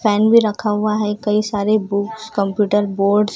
fan भी रखा हुआ है कई सारे बुक्स कंप्यूटर बोर्ड्स --